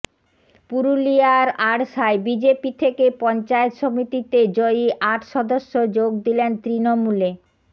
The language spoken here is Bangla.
পুরুলিয়ার আড়শায় বিজেপি থেকে পঞ্চায়েত সমিতিতে জয়ী আট সদস্য যোগ দিলেন তৃণমূলে